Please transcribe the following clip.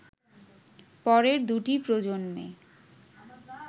পরের দুটি প্রজন্মে